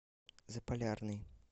заполярный